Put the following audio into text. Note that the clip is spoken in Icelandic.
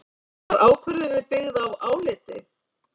Var ákvörðunin byggð á áliti